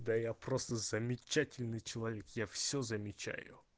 да я просто замечательный человек я все замечаю